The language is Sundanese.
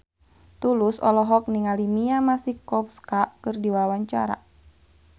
Tulus olohok ningali Mia Masikowska keur diwawancara